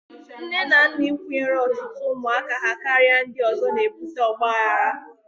Nne na nna ịkwụnyere ọtụtụ ụmụ ha karịa ndị ọzọ na-ebute ọgbaghara.